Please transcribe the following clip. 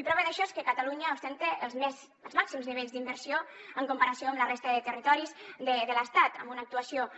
i prova d’això és que catalunya ostenta els màxims nivells d’inversió en comparació amb la resta de territoris de l’estat amb una actuació